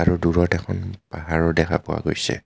আৰু দুৰত এখন পাহৰো দেখা পোৱা গৈছে।